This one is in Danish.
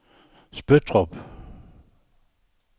Spøttrup